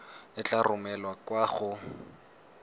e tla romelwa kwa go